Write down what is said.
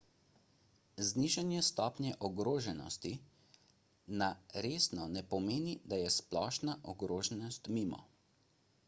znižanje stopnje ogroženosti na resno ne pomeni da je splošna ogroženost mimo